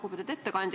Lugupeetud ettekandja!